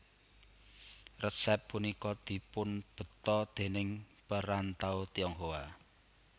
Resép punika dipunbeta déning perantau Tionghoa